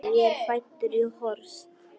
Ég er fæddur í Horst.